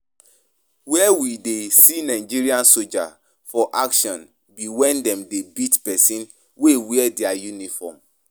Where we dey see Nigerian soldier for action be when dem dey beat person wey wear dia uniform